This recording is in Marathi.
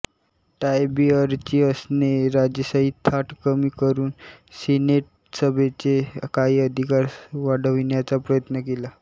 टायबीअरिअसने राजेशाही थाट कमी करून सीनेटसभेचे काही अधिकार वाढविण्याचा प्रयत्न केला